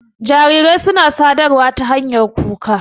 Jarirai suna sadarwa ta hanyar kuka.